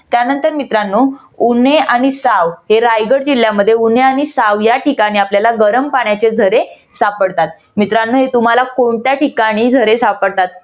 त्यानंतर मित्रानो उन्हे आणि साव हे रायगड जिल्ह्यामध्ये उन्हे आणि साव या ठिकाणी आपल्याला गरम पाण्याचे झरे सापडतात. तर मित्रानो तुम्हाला कोणत्या ठिकाणी झरे सापडतात?